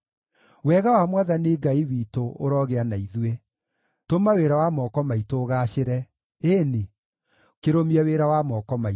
Wega wa Mwathani Ngai witũ ũrogĩa na ithuĩ; tũma wĩra wa moko maitũ ũgaacĩre, ĩĩ-ni, kĩrũmie wĩra wa moko maitũ.